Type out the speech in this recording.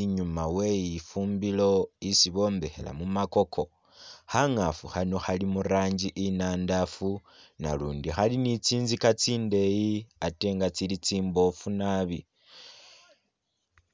inyuma we lifumbilo isi bombekhela mumakoko khangafu khano khali murangi inandafu na lundi khali ni tsinzika tsindeyi Ate nga tsili tsimbofu naabi. .